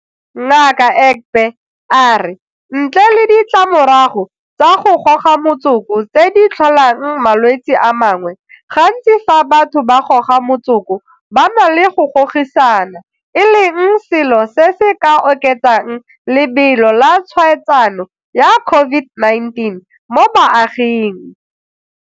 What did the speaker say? Ngaka Egbe a re ntle le ditlamorago tsa go goga motsoko tse di tlholang malwetse a mangwe, gantsi fa batho ba goga motsoko ba na le go gogisana e leng selo se se ka oketsang lebelo la tshwaetsano ya COVID-19 mo baaging.